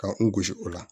Ka n gosi o la